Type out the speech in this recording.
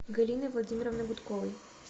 галиной владимировной гудковой